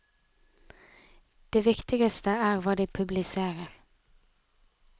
Det viktigste er hva de publiserer.